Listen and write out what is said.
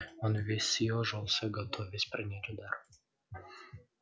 он весь съёжился готовясь принять удар